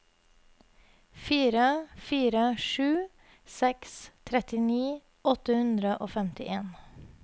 fire fire sju seks trettini åtte hundre og femtien